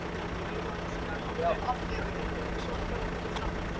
Sumt í henni myndi segja sannleikann um þær pöddur sem við erum